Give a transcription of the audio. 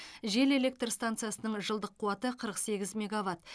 жел электр станциясының жылдық қуаты қырық сегіз мегаватт